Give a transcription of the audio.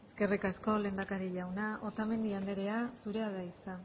eskerrik asko lehendakari jauna otamendi anderea zurea da hitza